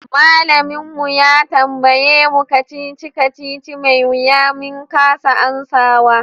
Malamin mu ya tambaye mu kacici-kacici mai wiya min kasa amsawa.